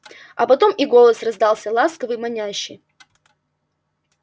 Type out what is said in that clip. а потом и голос раздался ласковый манящий